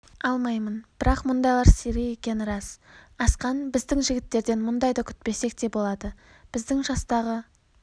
алмаймын бірақ мұндайлар сирек екені рас асқан біздің жігіттерден мұндайды күтпесек те болады біздің жастағы